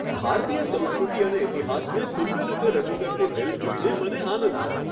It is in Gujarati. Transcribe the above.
ભારતીય સંસ્કૃતિ અને ઇતિહાસને સુંદર રીતે રજૂ કરતી ફિલ્મ જોઈને મને આનંદ થયો.